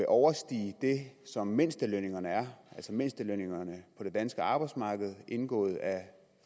overstige det som mindstelønningerne er altså mindstelønningerne på det danske arbejdsmarked indgået af